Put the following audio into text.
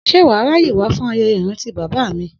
S̩e wà á ráyè wá fún aye̩ye̩ ìrántí bàbá a bàbá mi?